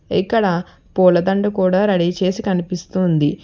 ఇక్కడ పూల దండ కూడా రెడీ చేసి కనిపిస్తుంది.